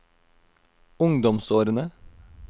ungdomsårene